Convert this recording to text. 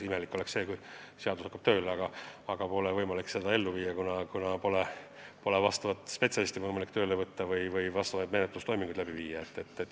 Imelik oleks, kui seadus on jõustunud, aga pole võimalik seda ellu viia, kuna ei saa vajalikku spetsialisti tööle võtta või vajalikke menetlustoiminguid teha.